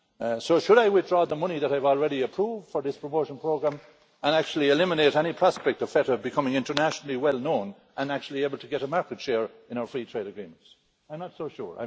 So should I withdraw the money that I've already approved for this promotion programme and actually eliminate any prospect of feta becoming internationally well known and actually able to get a market share in our free trade agreements? I'm not so sure.